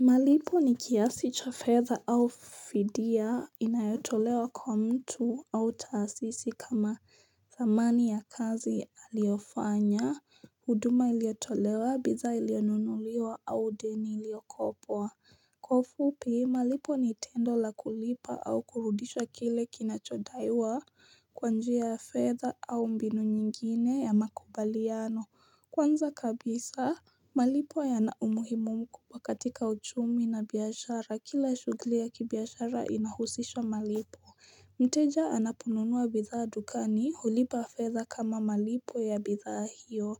Malipo ni kiasi cha fedha au fidia inayotolewa kwa mtu au taasisi kama dhamani ya kazi aliyofanya, huduma iliyotolewa, bidhaa iliyonunuliwa au deni iliyokopwa. Kwa ufupi, malipo ni tendo la kulipa au kurudisha kile kinachodaiwa kwanjia ya fedha au mbinu nyingine ya makubaliano. Kwanza kabisa, malipo yana umuhimu mkubwa katika uchumi na biashara, kila shughuli ya kibiashara inahusisha malipo. Mteja anaponunua bidhaa dukani, hulipa fedha kama malipo ya bidhaa hiyo.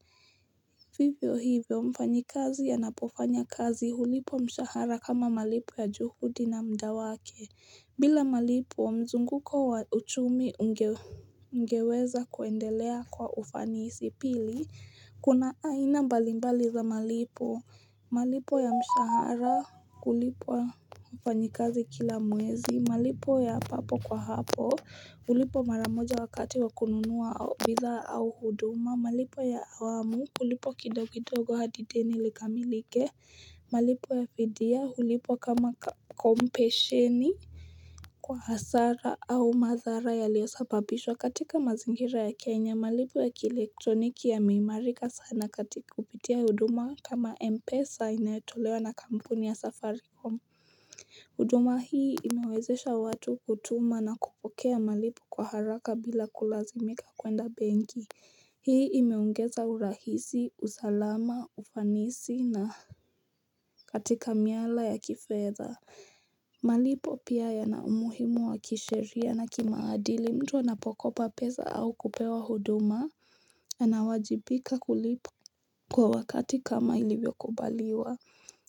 Vivyo hivyo, mfanyi kazi anapofanya kazi hulipwa mshahara kama malipo ya juhudi na mda wake. Bila malipo wa mzunguko wa uchumi ungeweza kuendelea kwa ufanisi pili Kuna aina mbalimbali za malipo malipo ya mshahara kulipa wafanyikazi kila mwezi malipo ya papo kwa hapo hulipwa maramoja wakati wa kununua au bidhaa au huduma malipo ya awamu hulipwa kidogodogo hadi deni likamilike malipo ya fidia hulipwa kama kompesheni Kwa hasara au madhara yaliyosababishwa katika mazingira ya Kenya malipo ya kielektroniki yameimarika sana katika kupitia huduma kama Mpesa inayotolewa na kampuni ya safaricom huduma hii imewezesha watu kutuma na kupokea malipo kwa haraka bila kulazimika kwenda benki Hii imeongeza urahisi, usalama, ufanisi na katika miala ya kifedha malipo pia ya na umuhimu wa kisheria na kimaadili mtu anapokopa pesa au kupewa huduma ana wajibika kulipa kwa wakati kama ilivyo kubaliwa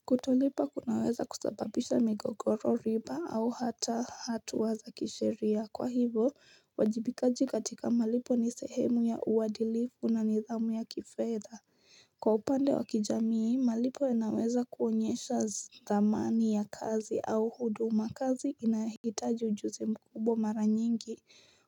Kutolipa kunaweza kusababisha migogoro riba au hata hatua za kisheria Kwa hivo, uwajibikajikatika malipo ni sehemu ya uadilifu na nidhamu ya kifedha Kwa upande wa kijamii malipo yanaweza kuonyesha dhamani ya kazi au huduma kazi inahitaji ujuzi mkubwa mara nyingi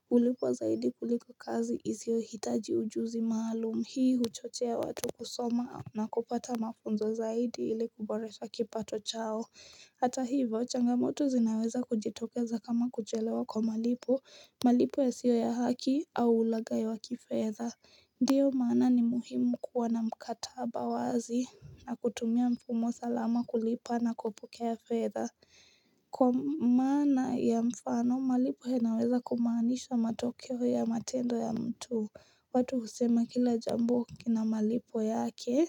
kulipwa zaidi kuliko kazi isio hitaji ujuzi maalum hii huchochea watu kusoma na kupata mafunzo zaidi ili kuboresha kipato chao Hata hivo changamoto zinaweza kujitokeza kama kuchelewa kwa malipo malipo yasio ya haki au ulagai wa kifedha Ndiyo maana ni muhimu kuwa na mkataba wazi na kutumia mfumo salama kulipa na kupokea fedha. Kwa maana ya mfano, malipo yanaweza kumaanisha matokeo ya matendo ya mtu. Watu husema kila jambo kina malipo yake.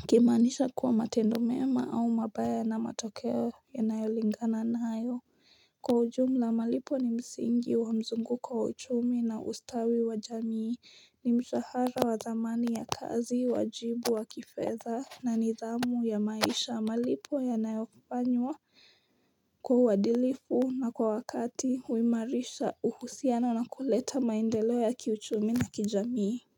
Wakimaanisha kuwa matendo mema au mabaya na matokeo yanayolingana nayo. Kwa ujumla malipo ni msingi wa mzungu kwa uchumi na ustawi wa jamii ni mshahara wa dhamani ya kazi wajibu wa kifedha na nidhamu ya maisha malipo yanayofanywa kwa uadilifu na kwa wakati huimarisha uhusiano na kuleta maendeleo ya kiuchumi na kijamii.